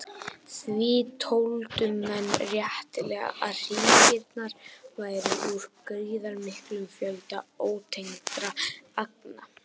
Því töldu menn réttilega að hringirnir væru úr gríðarmiklum fjölda ótengdra agna.